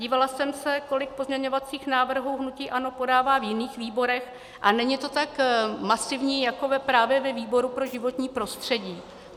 Dívala jsem se, kolik pozměňovacích návrhů hnutí ANO podává v jiných výborech, a není to tak masivní jako právě ve výboru pro životní prostředí.